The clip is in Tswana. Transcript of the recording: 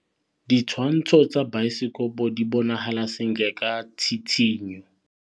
Ditshwantshô tsa biosekopo di bonagala sentle ka tshitshinyô.